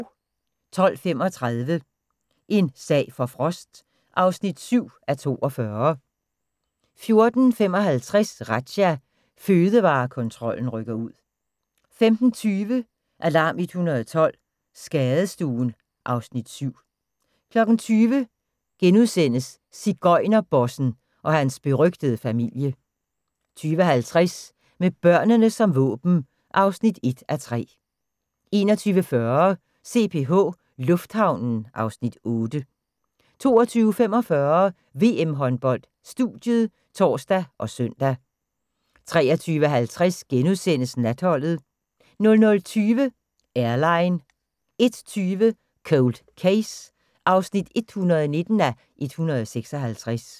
12:35: En sag for Frost (7:42) 14:55: Razzia – Fødevarekontrollen rykker ud 15:20: Alarm 112 – Skadestuen (Afs. 7) 20:00: Sigøjnerbossen – og hans berygtede familie * 20:50: Med børnene som våben (1:3) 21:40: CPH Lufthavnen (Afs. 8) 22:45: VM-håndbold: Studiet (tor og søn) 23:50: Natholdet * 00:20: Airline 01:20: Cold Case (119:156)